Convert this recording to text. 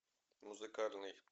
музыкальный